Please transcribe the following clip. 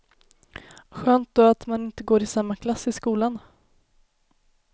Skönt då att man inte går i samma klass i skolan.